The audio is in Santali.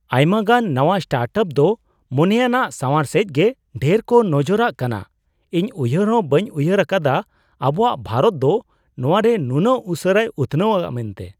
ᱟᱭᱢᱟᱜᱟᱱ ᱱᱟᱶᱟ ᱥᱴᱟᱨᱴᱟᱯ ᱫᱚ ᱢᱚᱱᱮᱭᱟᱱᱟᱜ ᱥᱟᱶᱟᱨ ᱥᱮᱡᱜᱮ ᱰᱷᱮᱨ ᱠᱚ ᱱᱚᱡᱚᱨᱟᱜ ᱠᱟᱱᱟ ! ᱤᱧ ᱩᱭᱦᱟᱹᱨ ᱦᱚᱸ ᱵᱟᱹᱧ ᱩᱭᱦᱟᱹᱨ ᱟᱠᱟᱫᱟ ᱟᱵᱚᱣᱟᱜ ᱵᱷᱟᱨᱚᱛ ᱫᱚ ᱱᱚᱣᱟᱨᱮ ᱱᱩᱱᱟᱹᱜ ᱩᱥᱟᱹᱨᱟᱭ ᱩᱛᱷᱱᱟᱹᱣᱼᱟ ᱢᱮᱱᱛᱮ ᱾